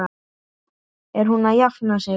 Er hún að jafna sig?